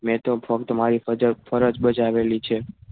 મેં તો ફક્ત મારી ફરજ બજાવેલી છે.